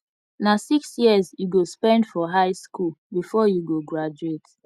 na six years you go spend for high skool before you go graduate